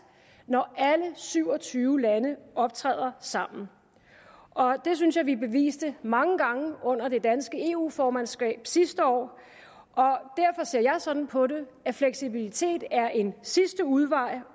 når alle syv og tyve lande optræder sammen og det synes jeg vi beviste mange gange under det danske eu formandskab sidste år derfor ser jeg sådan på det at fleksibilitet er en sidste udvej